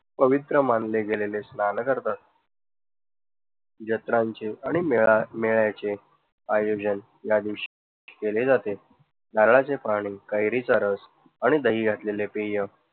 पवित्र मानले गेलेले स्नान करतात. यात्रांचे आणि मेळांव्यांचे आयोजन या दिवशी केले जाते. नारळाचे पाणी, कैरीचा रस आणि दही असलेले पेय